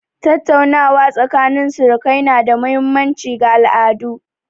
Tattaunawa tsakanin surukai na da mahimmanci ga al'adu.